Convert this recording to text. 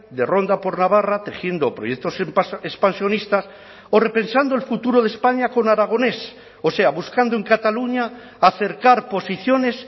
de ronda por navarra tejiendo proyectos expansionistas o repensando el futuro de españa con aragonés o sea buscando en cataluña acercar posiciones